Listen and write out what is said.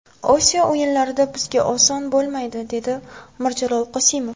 Osiyo o‘yinlarida bizga oson bo‘lmaydi”, dedi Mirjalol Qosimov.